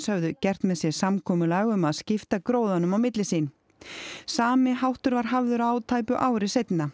höfðu gert með sér samkomulag um að skipta gróðanum á milli sín sami háttur var hafður á tæpu ári seinna